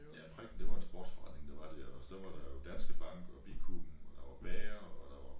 Ja prikken det var en sportsforretning der var dér og så var der jo Danske Bank og bikuben og der var bager og der var